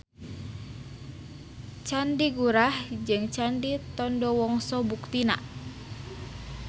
Candi Gurah jeung Candi Tondowongso buktina.